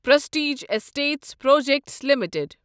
prestige estates projects limited